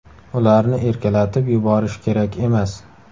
Ularni erkalatib yuborish kerak emas.